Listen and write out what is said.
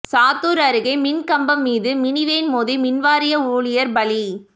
சாத்தூா் அருகே மின்கம்பம் மீது மினிவேன் மோதி மின்வாரிய ஊழியா் பலி